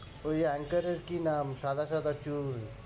ওই anchor এর কি না? সাদা সাদা চুল।